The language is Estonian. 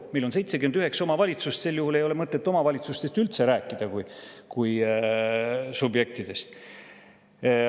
Meil on 79 omavalitsust, sel juhul ei ole mõtet üldse rääkida omavalitsustest kui subjektidest.